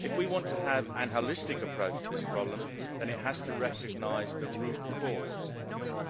If we want to have a holistic approach to this problem, then it has to recognise the root cause,